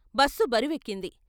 Bus బరువెక్కింది.